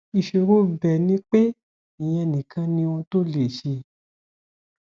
ìṣòro ibẹ ni pé ìyẹn nìkan ni ohun tó lè ṣe